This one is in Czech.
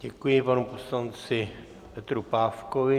Děkuji panu poslanci Petru Pávkovi.